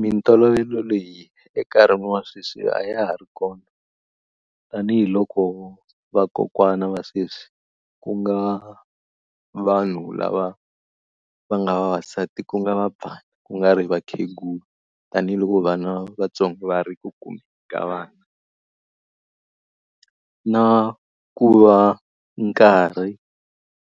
Mitolovelo leyi enkarhini wa sweswi a ya ha ri kona. Tanihi loko vakokwana va sweswi ku nga vanhu lava va nga vavasati ku nga va ku nga ri vakhegula, tanihiloko vana vantsongo va ri ku kumeni ka vana. Na ku va nkarhi